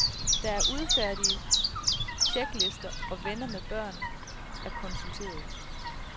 Der er udfærdiget tjeklister og venner med børn er konsulteret.